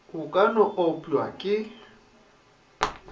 o ka no opša ke